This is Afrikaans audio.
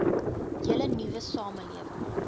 hele nuwe samelewing